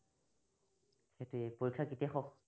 সেইটোৱেই পৰীক্ষা কেতিয়া হওঁক